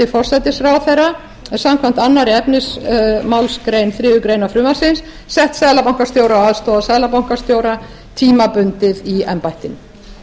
forsætisráðherra samkvæmt öðrum efnismgr þriðju greinar frumvarps sett seðlabankastjóra og aðstoðarseðlabankastjóra tímabundið í embættið ég